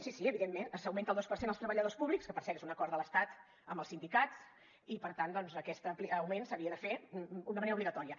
sí sí evidentment s’augmenta el dos per cent als treballadors públics que per cert és un acord de l’estat amb els sindicats i per tant aquest augment s’havia de fer de manera obligatòria